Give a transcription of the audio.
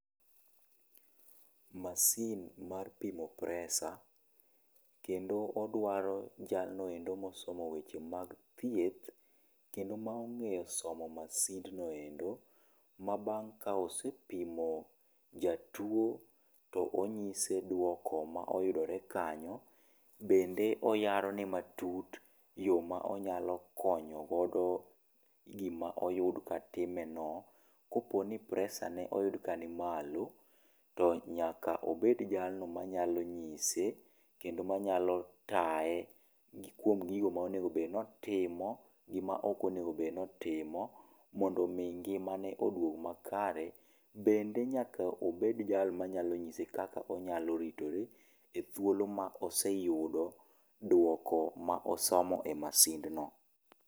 Masin mar pimo presa, kendo odwaro jalno endo ma osomo weche mag thieth kendo ma ong'eyo somo masind no endo, ma bang' ka osepimo jatuo to ong'ise duoko ma oyudre kanyo bende oyaro ne matut yoo ma nyalo konyo gi ma oyud ka timeno. Koponi presa ne oyud ka ni malo, to nyaka obed jalno ma nyalo ngise kendo ma nyalo taye gi kuom gigo ma onego bed ni otimo gi ma ok onego obed ni otimo, mondo mi ngima ne odwog ma kare, bende nyaka obed jal ma nyalo ng'ise kaka onyalo ritre e kinde ma oseyudo duoko ma osomo e masind no.